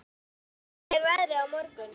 Úlfar, hvernig er veðrið á morgun?